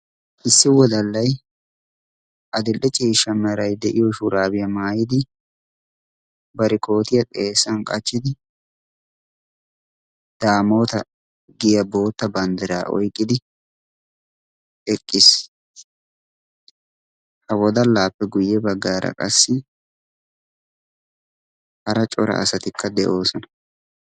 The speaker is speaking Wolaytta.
Issi wodallay adil"e ciishsha meray de'iyo shuraabiyaa maayidi barikootiyaa xeessan qachchidi daamoota giya bootta banddiraa oiqqidi eqqiis. ha wodalaappe guyye baggaara qassi hara cora asatikka de'oosona.